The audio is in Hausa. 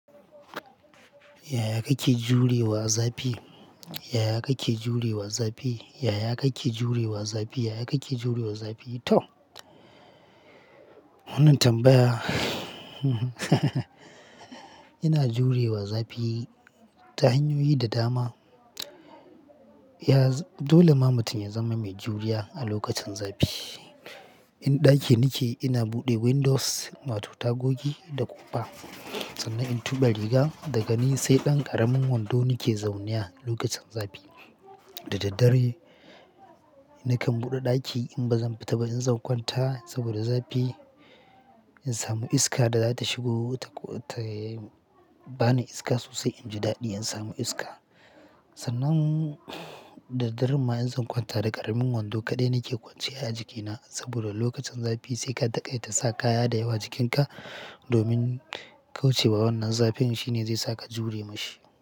Yaya kake jurewa zafi? Yaya kake jurewa zafi? Yaya kake jurewa zafi? Yaya kake jurewa zafi? To, wannan tambaya yana jurewa zafi ta hanyoyi da dama. Dole ma mutum ya zama mai juriya a lokacin zafi. In ɗaki nike ina buɗe windows, wato tagogi da ƙofa sannan in tuɓe riga, daga ni sai ɗan ƙaramin wando nike zaune a lokacin zafi. Da daddare nakan buɗe ɗaki in bazan fita ba in zankwanta saboda zafi. In samu iska da zata shigo ta ko ta bani iska sosai inji daɗi in samu iska. Sannan da daddaren ma in zan kwanta da ƙaramin wando kaɗai nake kwance a jikina saboda lokacin zafi sai ka taƙai ta saka kaya da yawa jikinka domin kaucewa wannan zafin shine zai saka jure ma shi.